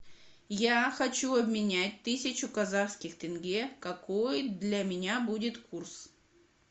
я хочу обменять тысячу казахских тенге какой для меня будет курс